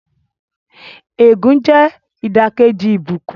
Ègún jẹ́ ìdàkejì ìbùkún.